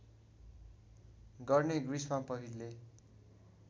गर्ने ग्रिसमा पहिले